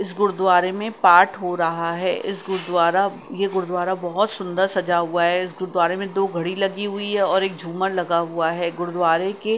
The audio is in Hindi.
इस गुरुद्वारे में पाठ हो रहा है। इस गुरुद्वारा ये गुरुद्वारा बहुत सुंदर सजा हुआ है। इस गुरुद्वारे में दो घड़ी लगी हुई है और एक झुमर लगा हुआ है। गुरुद्वारे के--